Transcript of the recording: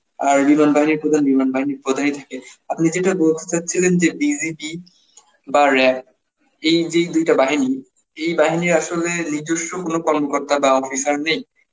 আর বিমান বাহিনীর প্রধান বিমান বাহিনীর প্রধানই থাকে. আপনি যেটা বলতে চাচ্ছিলেন যে BGP বা RAB এই যেই দুইটা বাহিনী এই বাহিনীর আসলে নিজস্ব কোন কর্মকর্তা বা officer নেই